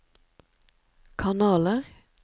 kanaler